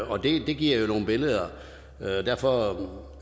og det giver jo nogle billeder derfor